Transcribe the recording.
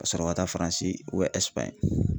Ka sɔrɔ ka taa faransi